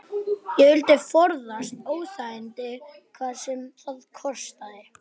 Ég vildi forðast óþægindi hvað sem það kostaði.